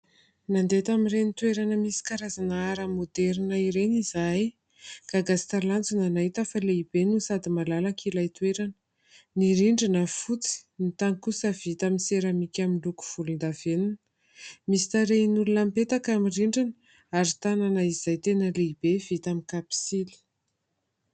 Nandeha tamin'ireny toerana misy karazana ara maoderina ireny izahay. Gaga sy talanjona nahita fa lehibe no sady malalaka ilay toerana. Ny rindrina fotsy, ny tany kosa vita amin'ny seramika miloko volondavenona. Misy tarehin'olona mipetaka amin'ny rindrina ary tanana izay tena lehibe vita amin'ny kapisily.